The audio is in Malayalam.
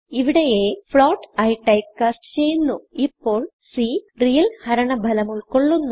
ഇവിടെ a float ആയി ടൈപ്പ്കാസ്റ്റ് ചെയ്യുന്നു ഇപ്പോൾ c റിയൽ ഹരണ ഭലം ഉൾകൊള്ളുന്നു